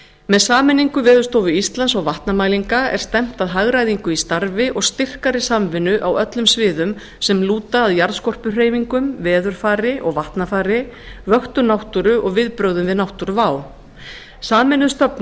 með sameiningu veðurstofu íslands og vatnamælinga er stefnt að hagræðingu í starfi og styrkari samvinnu á öllum sviðum sem lúta að jarðskorpuhreyfingum veðurfari og vatnafari vöktun náttúru og viðbrögðum við náttúruvá sameinuð